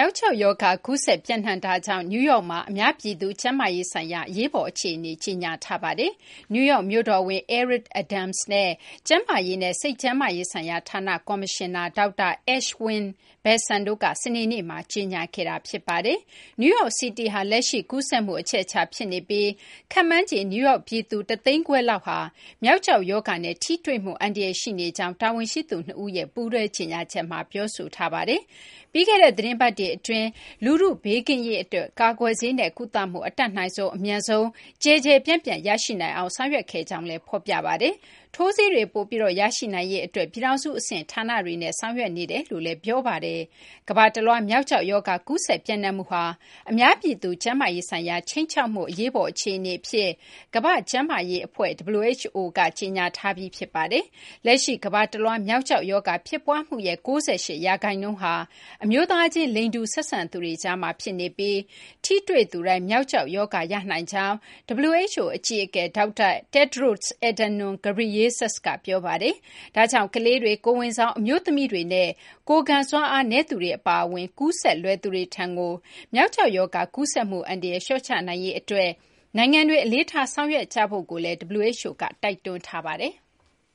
ောက်ကျောက်ရောဂါ ကူးစက် ပျံ့နှံ့မှုကြောင့် နယူးယောက်မှာ အများပြည်သူ ကျန်းမာရေးဆိုင်ရာ အရေးပေါ်အခြေအနေ ကြေညာထားပါတယ်။ နယူးယောက် မြို့တော်ဝန် Eric Adams နဲ့ ကျန်းမာရေးနဲ့ စိတ်ကျန်းမာရေးဆိုင်ရာဌာန ကော်မရှင်နာ ဒေါက်တာ Ashwin Vasan တို့က စနေနေ့မှာ ကြေညာခဲ့တာပါ။ New York City ဟာ လက်ရှိ ကူးစက်မှု အချက်အချာ ဖြစ်နေပြီး ခန့်မှန်းခြေ နယူးယောက် ပြည်သူ ၁၅၀,၀၀၀ လောက်ဟာ မျောက်ကျောက် ရောဂါနဲ့ ထိတွေ့မှု အန္တရာယ် ရှိနေကြောင်း တာဝန်ရှိသူ ၂ ဦးက ပူးတွဲကြေညာချက်မှာ ပြောဆိုထားပါတယ်။ ပြီးခဲ့တဲ့ သီတင်းပတ်တွေ အတွင်းမှာ လူထု ဘေးကင်းရေး အတွက် ကာကွယ်ဆေးနဲ့ ကုသမှု အတတ်နိုင်ဆုံး အမြန်ဆုံး ကျယ်ကျယ်ပြန့်ပြန့် ရရှိနိုင်အောင် ဆောင်ရွက်ခဲ့ကြောင်းလည်း ဖော်ပြပါတယ်။ ထိုးဆေးတွေ ပိုပြီး ရရှိနိုင်ရေး အတွက်လည်း ပြည်ထောင်စု အဆင့် ဌာနတွေနဲ့ ဆောင်ရွက်နေကြောင်း ဖော်ပြပါတယ်။ ကမ ္ဘာတလွှား မျောက်ကျောက် ရောဂါ ကူးစက် ပျံ့နှံ့မှုဟာ အများပြည်သူ ကျန်းမာရေးဆိုင်ရာ ခြိမ်းခြောက်မှု အရေးပေါ် အခြေအနေ အဖြစ် ကမ ္ဘာ့ကျန်းမာရေး အဖွဲ့ WHO က ကြေညာထားပြီး ဖြစ်ပါတယ်။ လက်ရှိ ကမ္ဘာတလွှား မျောက်ကျောက် ရောဂါ ဖြစ်ပွားမှုရဲ့ ၉၈ ရာခိုင်နှုန်းဟာ အမျိုးသားချင်း လိင်တူ ဆက်ဆံသူတွေကြားမှာ ဖြစ်နေပြီး ထိတွေ့ သူတိုင်း မျောက်ကျောက် ရောဂါ ရနိုင်ကြောင်း WHO အကြီးအကဲ ဒေါက်တာ Tedros Adhanom Ghebreyesus က ပြောပါတယ်။ ဒါကြောင့် ကလေးတွေ၊ ကိုယ်ဝန်ဆောင် အမျိုးသမီးတွေနဲ့ ကိုယ်ခံစွမ်းအားနည်းသူတွေ အပါအဝင် ကူးစက်လွယ်သူတွေထံကို မျောက်ကျောက် ရောဂါ ကူးစက်မှု အန္တရာယ် လျှော့ချနိုင်ရေး အတွက် နိုင်ငံတွေ အလေးထား ဆောင်ရွက်ကြဖို့လည်း WHO က တိုက်တွန်းထားပါတယ်။